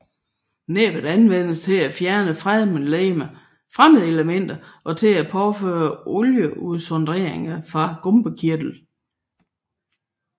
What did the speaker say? Næbbet anvendes til at fjerne fremmedelementer og til at påføre olieudsondringerne fra gumpekirtlen